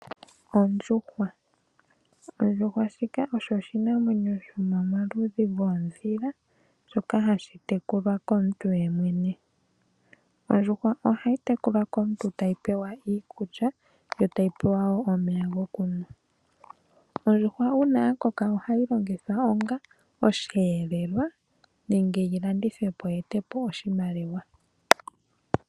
Ondjuhwa, ondjuhwa shika osho oshinamwenyo sho momaludhi goodhila shoka hashi tekulwa komuntu yemwene. Ondjuhwa ohayi tekulwa komuntu tayi pewa iikulya yo tayi pewa woo omeya gokunwa. ondjuhwa uuna ya koka ohayi longithwa onga osheelelwa nenge yilandithwe po, yi e te po oshimaliwa.